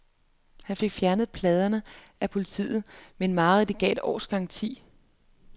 Han fik fjernet pladerne af politiet, men mareridtet gav et års gratis bilforsikring.